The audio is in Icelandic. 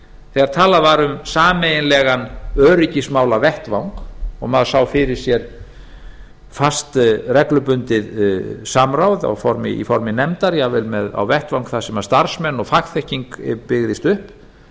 þegar talað var um sameiginlegan öryggismálavettvang maður sá fyrir sér fast reglubundið samráð í formi nefndar jafnvel vettvang þar sem starfsmenn og fagþekking byggðist upp